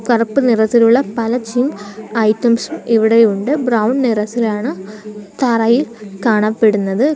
കറുപ്പ് നിറത്തിലുള്ള പല ജിം ഐറ്റംസ് ഇവിടെയുണ്ട് ബ്രൗൺ നിറത്തിലാണ് തറയിൽ കാണപ്പെടുന്നത്.